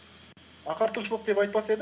ағартушылық деп айтпас едім